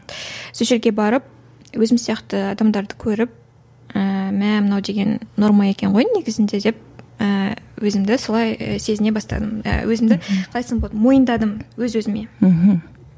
сол жерге барып өзім сияқты адамдарды көріп ііі мә мынау деген норма екен ғой негізінде деп ііі өзімді солай сезіне бастадым өзімді қалай айтсам болады мойындадым өз өзіме мхм